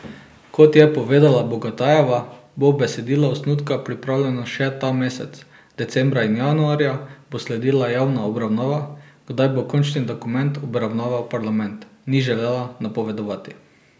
Kot je povedala Bogatajeva, bo besedilo osnutka pripravljeno še ta mesec, decembra in januarja bo sledila javna obravnava, kdaj bo končni dokument obravnaval parlament, ni želela napovedovati.